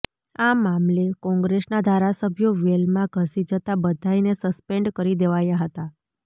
આ મામલે કોંગ્રેસના ધારાસભ્યો વેલમાં ધસી જતાં બધાયને સસ્પેન્ડ કરી દેવાયા હતાં